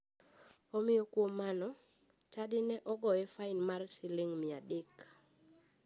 Omiyo kuom mano, chadi ne ogoye fain mar siling mia adek.